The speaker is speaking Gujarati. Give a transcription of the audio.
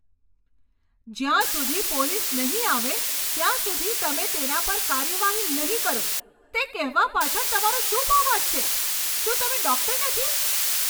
જ્યાં સુધી પોલીસ નહીં આવે ત્યાં સુધી તમે તેના પર કાર્યવાહી નહીં કરો તે કહેવા પાછળ તમારો શું ભાવાર્થ છે? શું તમે ડૉક્ટર નથી?